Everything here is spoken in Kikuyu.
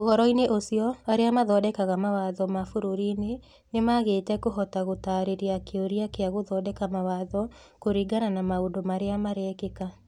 Ũhoro-inĩ ũcio, arĩa mathondekaga mawatho m abũrũri-inĩ nĩmaagĩte kũhota gũtaarĩria kĩũria kĩa gũthondeka mawatho kũringana na maũndũ marĩa marekĩka.